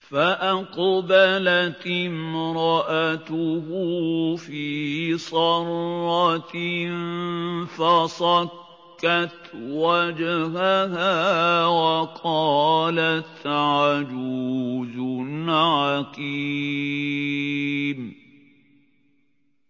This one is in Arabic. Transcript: فَأَقْبَلَتِ امْرَأَتُهُ فِي صَرَّةٍ فَصَكَّتْ وَجْهَهَا وَقَالَتْ عَجُوزٌ عَقِيمٌ